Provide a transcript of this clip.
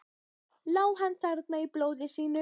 Lá hann þarna í blóði sínu?